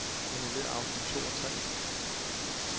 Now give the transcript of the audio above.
Annullér afsnit to og tre.